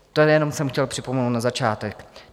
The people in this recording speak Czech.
To jenom jsem chtěl připomenout na začátek.